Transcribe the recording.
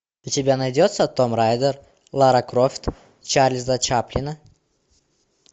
у тебя найдется том райдер лара крофт чарльза чаплина